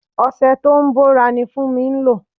Ọṣẹ tó ń bòra ni Funmi ń lò.